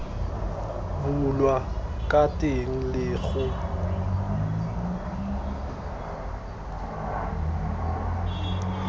bulwa ka teng le go